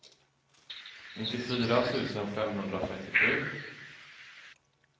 nittiofyra tusen femhundratrettiosju